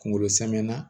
Kunkolo samana